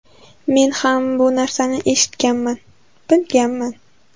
Men ham bu narsani eshitganman, bilaman.